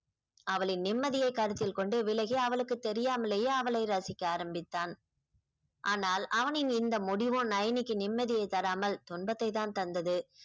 அவளின் நிம்மதியை கருத்தில் கொண்டு விலகி அவளுக்கு தெரியாமலேயே அவளை ரசிக்க ஆரம்பித்தான் ஆனால் அவனின் இந்த முடிவும் நயனிக்கு நிம்மதியை தராமல் துன்பத்தை தான் தந்தது